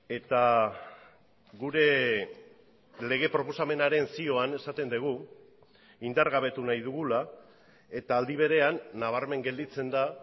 eta gure lege proposamenaren zioan esaten dugu indargabetu nahi dugula eta aldi berean nabarmen gelditzen da